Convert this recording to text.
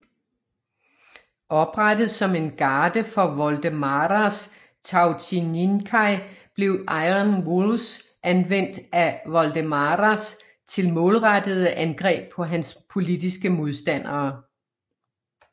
Oprettet som en garde for Voldemaras Tautininkai blev Iron Wolves anvendt af Voldemaras til målrettede angreb på hans politiske modstandere